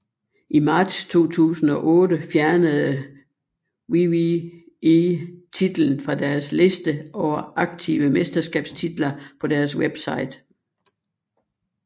I marts 2008 fjernede WWE titlen fra deres liste over aktive mesterskabstitler på deres website